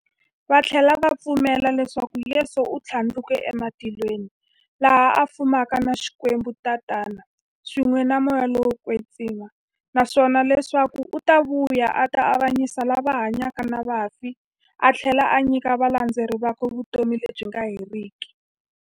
Vathlela va pfumela leswaku Yesu u thlandlukele ematilweni, laha a fumaka na Xikwembu-Tatana, swin'we na Moya lowo kwetsima, naswona leswaku u ta vuya a ta avanyisa lava hanyaka na vafi athlela a nyika valandzeri vakwe vutomi lebyi nga heriki.